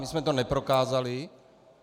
My jsme to neprokázali.